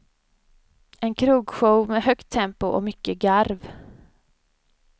En krogshow med högt tempo och mycket garv.